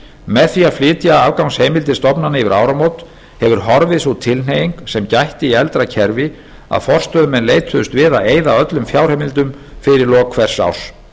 með því að flytja afgangsheimildir stofnana yfir áramót hefur horfið sú tilhneiging sem gætti í eldra kerfi að forstöðumenn leituðust við að eyða öllum fjárheimildum fyrir lok hvers árs